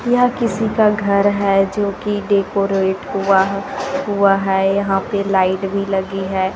ये किसी का घर है जो की डेकोरेट हुआ है हुआ है यहां पे लाइट भी लगी है।